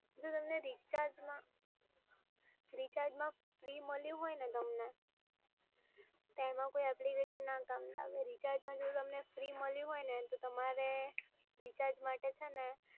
જો તમને રિચાર્જમાં ફ્રી મળ્યું હોયને તમને તેમાં કોઈ એપ્લિકેશન ના કામ લાગે, રિચાર્જમાં જો તમને ફ્રી મળ્યું હોયને તમારે રિચાર્જ માટે છે ને